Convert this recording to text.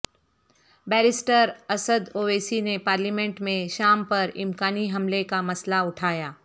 barrister Asad Owaisi نے parliament میں شام پر امکانی حملہ کا مسئلہ اٹھایا